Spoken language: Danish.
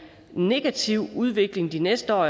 negativ udvikling de næste år